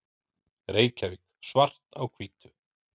Reykjavík, Svart á hvítu.